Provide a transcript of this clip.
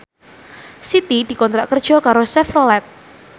Siti dikontrak kerja karo Chevrolet